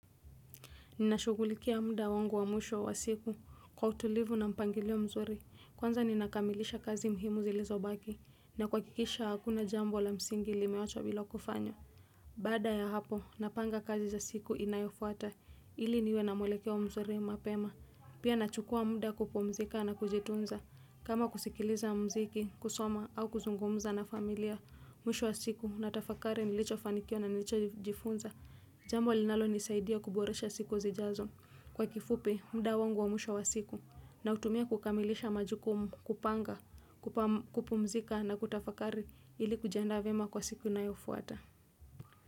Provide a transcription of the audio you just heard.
Ninashugulikia muda wangu wa mwisho wa siku kwa utulivu na mpangilio mzuri kwanza ninakamilisha kazi muhimu zilizo baki na kwakikisha hakuna jambo la msingi limeachwa bila kufanya. Bada ya hapo napanga kazi za siku inayofuata ili niwe na mwelekeo mzuri mapema. Pia nachukua muda kupumzika na kujitunza kama kusikiliza mziki kusoma au kuzungumza na familia mwisho wa siku natafakari nilicho fanikiwa na nilichojifunza. Jambo linalo nisaidia kuboresha siku zijazo kwa kifupi mda wangu wamwisho wa siku nautumia kukamilisha majukumu kupanga, kupumzika na kutafakari ilikujiaanda vema kwa siku inayofuata.